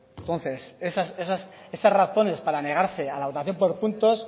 entonces esas razones para negarse a la votación por punto se